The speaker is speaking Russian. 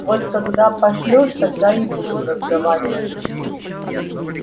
вот когда пошлёшь тогда и будем разговаривать